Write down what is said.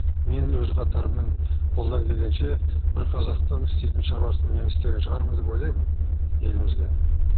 мен өз қатарыммен қолдан келгенше бір қазақтың істейтін шаруасын мен істеген шығармын деп ойлаймын елімізге